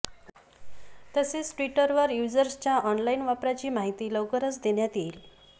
तसेच ट्विटरवर यूजर्सच्या ऑनलाईन वापराची माहिती लवकरच देण्यात येईल